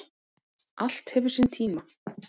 Allt hefur sinn tíma